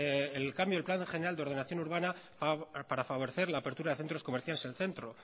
el cambio de plan general de ordenación urbana para favorecer la apertura de centros comerciales en el centro